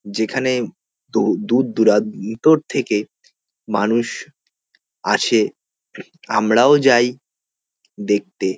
যেখানে দূ উউ দূর দূরান্তর থেকে মানুষ আসে আমরাও যাই দেখতে।